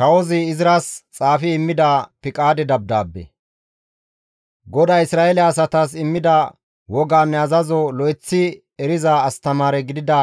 GODAY Isra7eele asatas immida wogaanne azazo lo7eththi eriza astamaare gidida